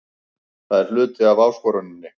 Það er hluti af áskoruninni.